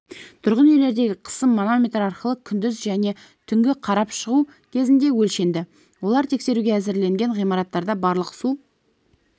тұрғын үйлердегі қысым манометр арқылы күндіз және түнгі қарап шығу кезінде өлшенді олар тексеруге әзірленген ғимараттарда барлық су